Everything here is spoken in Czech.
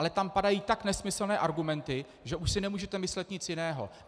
Ale tam padají tak nesmyslné argumenty, že už si nemůžete myslet nic jiného.